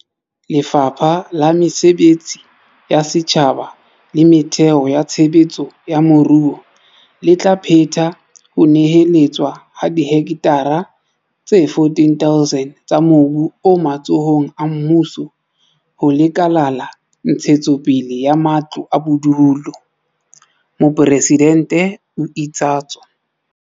"Lefapha la Mesebetsi ya Setjhaba le Metheo ya Tshe betso ya Moruo le tla phetha ho neheletswa ha dihektara tse 14 000 tsa mobu o matsohong a mmuso ho Lekala la Ntshetsopele ya Matlo a Bodulo," Mopresidente o itsatso.